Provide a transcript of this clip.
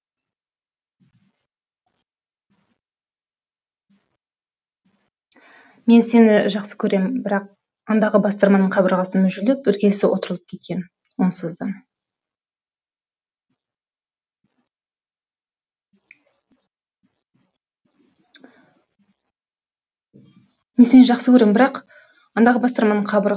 мен сені жақсы көрем бірақ андағы бастырманың қабырғасы мүжіліп іргесі опырылып кеткен онсыз да